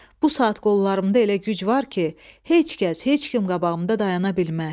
Bu saat qollarımda elə güc var ki, heç kəs, heç kim qabağımda dayana bilməz.